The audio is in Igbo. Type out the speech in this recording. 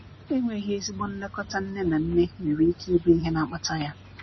enweghi ezigbo nlekọta nne na nne nwer ike ibụ ihe na akpata ya.